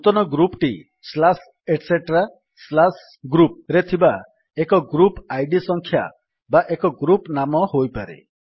ନୂତନ ଗ୍ରୁପ୍ ଟି etcgroup ରେ ଥିବା ଏକ ଗ୍ରୁପ୍ ଆଇଡି ସଂଖ୍ୟା ବା ଏକ ଗ୍ରୁପ୍ ନାମ ହୋଇପାରେ